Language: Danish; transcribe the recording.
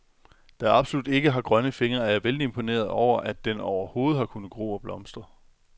Da jeg absolut ikke har grønne fingre, er jeg vældig imponeret over, at den overhovedet har kunnet gro og blomstre.